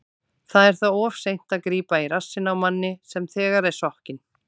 Það er þá of seint að grípa í rassinn á manni sem þegar er sokkinn.